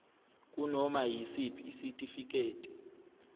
kunoma yisiphi isitifiketi